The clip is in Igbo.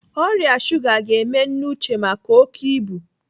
Ọrịa shuga ga-eme nne Uche maka oké ibu.